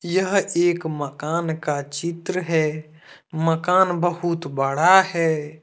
यह एक मकान का चित्र है मकान बहुत बड़ा है।